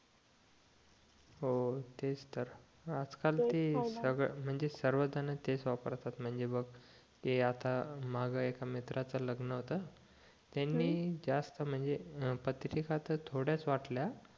हो तेच तर आज काल ते सगळे म्हणजे सर्व जण तेच वापरतात म्हणजे बघ ते आता मागं एका मित्राचं लगणं होत त्यांनी जास्त म्हणजे पत्रिका तर थोड्याच वाटल्या